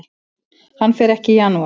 Hann fer ekki í janúar.